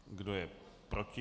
Kdo je proti?